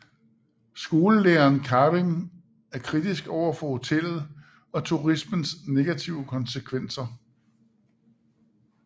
Skolelæreren Karim er kritisk overfor hotellet og turismens negative konsekvenser